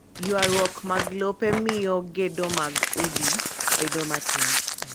Ywarruok mag lope miyo gedo mag udi bedo matin.